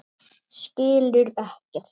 Skilur ekkert.